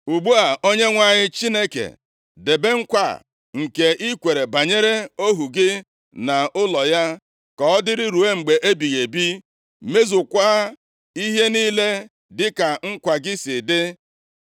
“Ugbu a, Onyenwe anyị Chineke, debe nkwa a nke i kwere banyere ohu gị na ụlọ ya ka ọ dịrị ruo mgbe ebighị ebi. Mezukwaa ihe niile dịka nkwa gị si dị